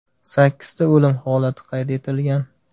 Sakkizta o‘lim holati qayd etilgan.